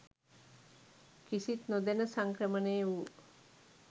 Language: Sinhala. කිසිත් නොදැන සංක්‍රමණය වූ